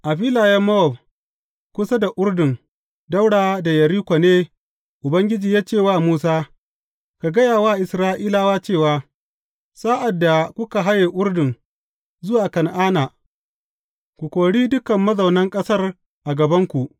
A filayen Mowab kusa da Urdun ɗaura da Yeriko ne Ubangiji ya ce wa Musa, Ka gaya wa Isra’ilawa cewa, Sa’ad da kuka haye Urdun zuwa Kan’ana, ku kori dukan mazaunan ƙasar a gabanku.